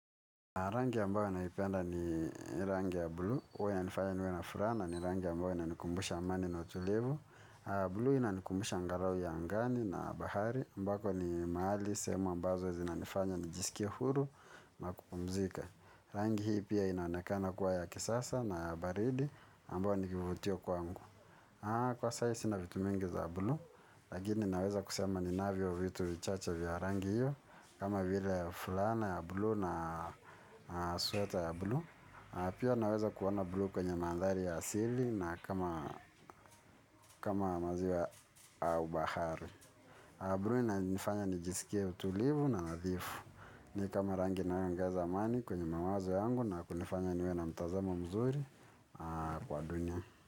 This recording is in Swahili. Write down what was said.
Rangi ambayo naipenda ni rangi ya bluu huwa inanifanya niwe na furaha na ni rangi ambayo inanikumbusha amani na utulivu. Bluu inanikumbusha angalau ya angani na bahari ambako ni mahali, sehemu ambazo zinanifanya, nijisikie huru na kupumzika rangi hii pia inaonekana kuwa ya kisasa na baridi ambayo ni vivutio kwangu kwa sai sina vitu mingi za bluu. Lakini naweza kusema ninavyo vitu vichache vya rangi hiyo kama vile fulana ya bluu na sweta ya bluu pia naweza kuona bluu kwenye nambari ya simu na kama maziwa au bahari. Bluu inanifanya nijisikie utulivu na nadhifu. Ni kama rangi inayoongeza amani kwenye mawazo yangu na kunifanya niwe na mtazamo mzuri kwa dunia.